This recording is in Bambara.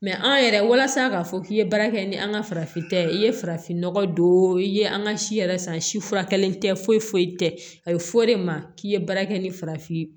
an yɛrɛ walasa k'a fɔ k'i ye baara kɛ ni an ka farafinta ye i ye farafin nɔgɔ don i ye an ka si yɛrɛ san si furakɛli tɛ foyi foyi tɛ a ye f'o de ma k'i ye baara kɛ ni farafin ye